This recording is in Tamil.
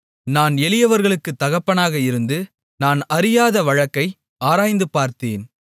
நான் எளியவர்களுக்குத் தகப்பனாக இருந்து நான் அறியாத வழக்கை ஆராய்ந்துபார்த்தேன்